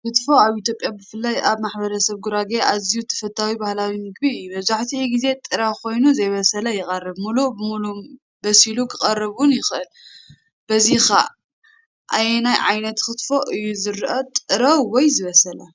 ክትፎ ኣብ ኢትዮጵያ ብፍላይ ኣብ ማሕበረሰብ ጉራጌ ኣዝዩ ተፈታዊ ባህላዊ ምግቢ እዩ። መብዛሕትኡ ግዜ ጥረ ኮይኑ (ዘይበሰለ) ይቐርብ፣ ምሉእ ብምሉእ በሲሉ ክቐርብ ውን ይኽእል። እዚኸ ኣየናይ ዓይነት ኪትፎ እዩ ዝርአ (ጥረ ወይ ዝተበሰለ)?